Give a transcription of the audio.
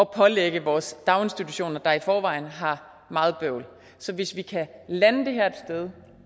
pålægge vores daginstitutioner der i forvejen har meget bøvl så hvis vi kan lande det her et sted